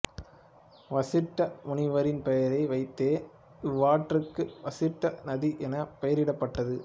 வசிட்ட முனிவரின் பெயரை வைத்தே இவ்வாற்றுக்கு வசிட்ட நதி என பெயரிடப்பட்டது